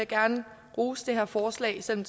gerne rose det her forslag selv om